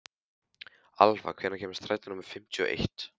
Alfa, hvenær kemur strætó númer fimmtíu og eitt?